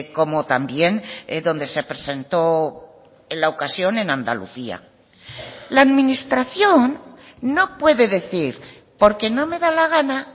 como también donde se presentó la ocasión en andalucía la administración no puede decir porque no me da la gana